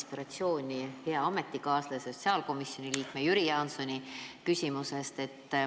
Tõukun hea ametikaaslase, sotsiaalkomisjoni liikme Jüri Jaansoni küsimusest, saades sellest inspiratsiooni.